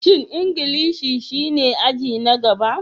Shin Ingilishi shine aji na gaba?